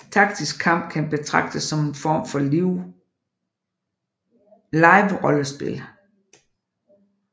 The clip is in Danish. Taktisk kamp kan betragtes som en form for liverollespil